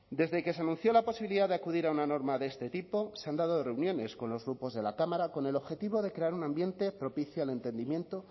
desde que se anunció la posibilidad de acudir a una norma de este tipo se han dado reuniones con los grupos de la cámara con el objetivo de crear un ambiente propicio al entendimiento